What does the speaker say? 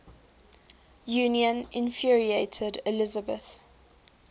union infuriated elizabeth